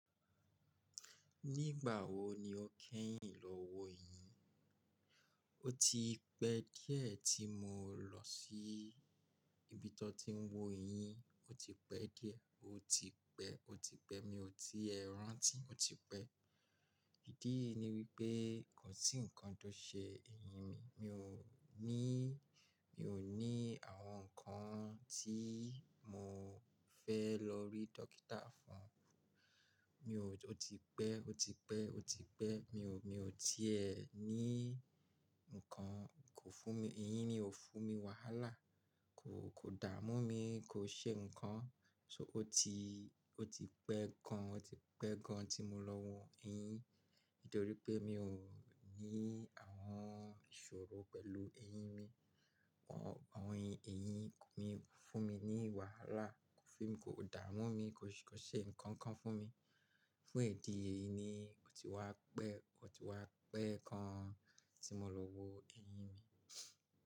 Nígbà wo ni o kẹ́yìn lọ wo eyín? O ti pẹ́ díẹ̀ tí mo lọ sí ibi tó ti ń wo eyín. O ti pẹ́ díẹ̀, o ti pẹ́, o ti pẹ́. Mi ò tiè rántí, o ti pẹ́. Ìdí èyí ní wípé kò sí nǹkan tó ṣe eyín mi. Mi ò ní, mi ò ní àwọn nǹkan tí mo fẹ́ lọ rí dókítà fún. Mi ò, o ti pẹ́, o ti pẹ́, o ti pẹ́. Mi ò, mi ò ti è ní nǹkan, kò fún mi, eyín mi ò fún mi wàhálà, kò, kò dà mú mi, kò ṣe nǹkan. So o ti, o ti pẹ́ gan, o ti pẹ́ gan tí mo lọ wo eyín. Nítorí pé mi ò ní àwọn ìṣòro pẹ̀lú eyín mi. Àwọn, àwọn eyín mi fún mi ní wàhálà, kò fún mi, kò dà mú mi, kò ṣe nǹkan kan fún mi. Fún ìdí èyí ni o ti wá pẹ́, o ti wá pẹ́ gán an tí mo lọ wo eyín mi.